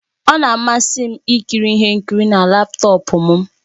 Ọ na-amasị m ikiri ihe nkiri na laptọọpụ m